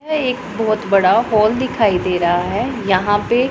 यह एक बहुत बड़ा हॉल दिखाई दे रहा है यहां पे--